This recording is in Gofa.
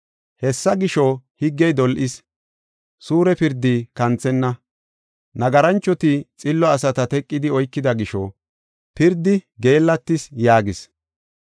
Hessa gisho, higgey dol7is; suure pirdi kanthenna. Nagaranchoti xillo asata teqidi oykida gisho, pirdi geellatis” yaagis.